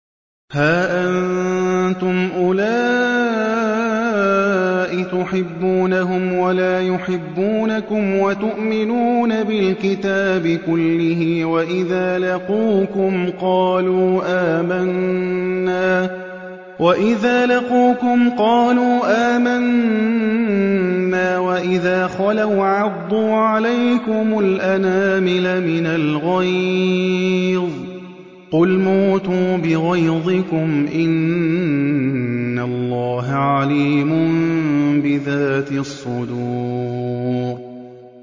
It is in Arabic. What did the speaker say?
هَا أَنتُمْ أُولَاءِ تُحِبُّونَهُمْ وَلَا يُحِبُّونَكُمْ وَتُؤْمِنُونَ بِالْكِتَابِ كُلِّهِ وَإِذَا لَقُوكُمْ قَالُوا آمَنَّا وَإِذَا خَلَوْا عَضُّوا عَلَيْكُمُ الْأَنَامِلَ مِنَ الْغَيْظِ ۚ قُلْ مُوتُوا بِغَيْظِكُمْ ۗ إِنَّ اللَّهَ عَلِيمٌ بِذَاتِ الصُّدُورِ